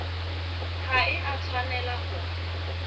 ha e a tshwanela ho